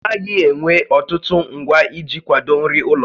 Ọ naghị ewe ọtụtụ ngwa iji kwado nri ụlọ